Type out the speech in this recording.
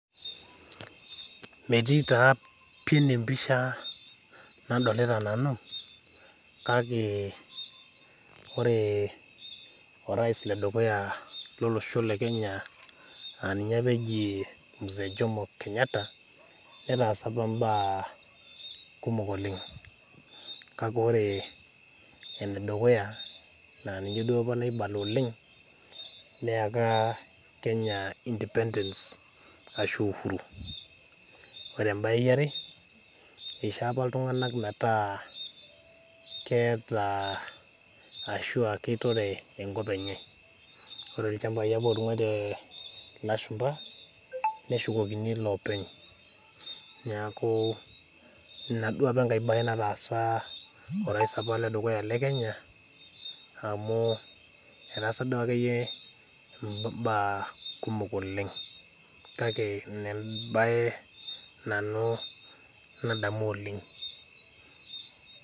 Metii taa pi empisha eneweji nadolita nanu kake ore orias ledukuya lolosho lekenya aa ninye apa eji mzee jomo kenyatta metaasa apa mbaa kumok oleng, kake ore enedukuya naa ninye duo apa naibala oleng neyaka kenya independence ashu uhuru, ore embae eare eisho apa iltunganak metaa keitore enkop enye ,ore ilchampai apa ootungwaitie ilashumpa ,.neshukokini loopeny neeku ina duo enkae bae apa nataasa orais lekenya ,amu etaasa akeyie eimbaa kumok oleng ,kake ina embae nadamu nanu oleng .